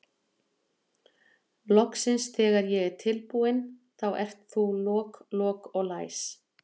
Loksins þegar ég er tilbúin þá ert þú lok, lok og læs.